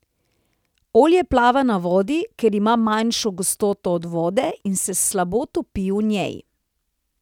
Olje plava na vodi, ker ima manjšo gostoto od vode in se slabo topi v njej.